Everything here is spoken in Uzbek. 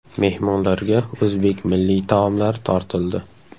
Mehmonlarga o‘zbek milliy taomlari tortildi.